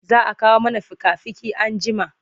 Za a kawo mana fika-fiki anjima.